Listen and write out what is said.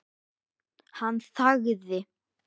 Hann þagði.